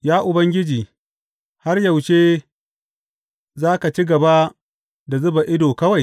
Ya Ubangiji, har yaushe za ka ci gaba da zuba ido kawai?